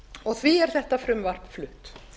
og því er þetta frumvarp flutt